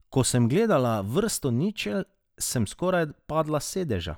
Ko sem zagledala vrsto ničel, sem skoraj padla s sedeža.